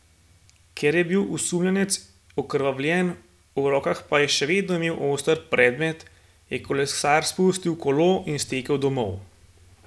Ker je bil osumljenec okrvavljen, v rokah pa je še vedno imel oster predmet, je kolesar spustil kolo in stekel domov.